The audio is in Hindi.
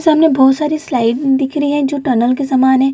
सामने बहुत सारी स्लाइड दिख रही है जो टनल के समान है।